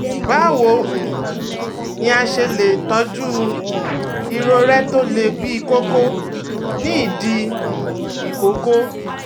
Báwo um ni a ṣe lè tọ́jú um irorẹ́ tó le bíi kókó ní ìdí um ìkókó?